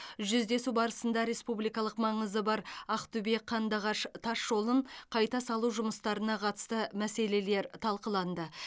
жүздесу барысында республикалық маңызы бар ақтөбе қандыағыш тас жолын қайта салу жұмыстарына қатысты мәселелер талқыланды